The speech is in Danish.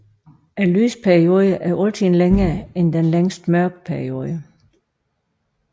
Lysperioden er altid længere end den længste mørkeperiode